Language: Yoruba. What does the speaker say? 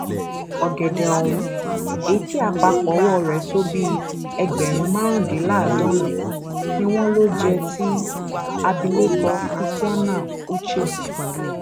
ọgẹdẹ ohun èyí tí àpapọ owó rẹ tó bíi ẹgbẹrún márùndínláàádọrin ni wọn lò jẹ ti abilékọ christianah ushe